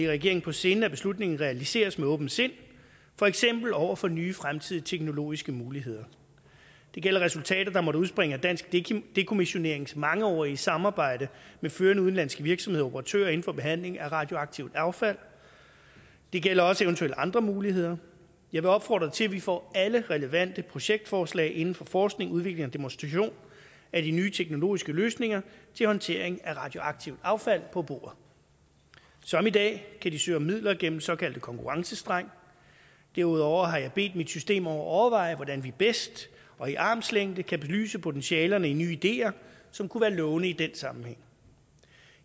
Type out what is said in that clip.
regeringen på sinde at beslutningen realiseres med åbent sind for eksempel over for nye fremtidige teknologiske muligheder det gælder resultatet der måtte udspringe af dansk dekommissionerings mangeårige samarbejde med førende udenlandske virksomheder og operatører inden for behandling af radioaktivt affald det gælder også eventuelle andre muligheder jeg vil opfordre til at vi får alle relevante projektforslag inden for forskning udvikling og demonstration af de nye teknologiske løsninger til håndtering af radioaktivt affald på bordet som i dag kan de søge om midler gennem en såkaldt konkurrencestreng derudover har jeg bedt mit system om at overveje hvordan vi bedst og i armslængde kan belyse potentialerne i nye ideer som kunne være lovende i den sammenhæng